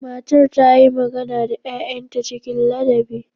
Matar ta yi magana da 'ya'yanta cikin ladabi.